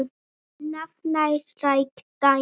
Annað nærtækt dæmi.